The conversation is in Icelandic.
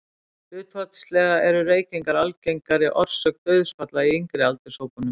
Hlutfallslega eru reykingar algengari orsök dauðsfalla í yngri aldurshópunum.